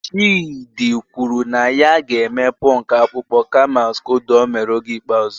Chidi kwuru na ya ga-eme punk akpụkpọ kama skodo o mere oge ikpeazụ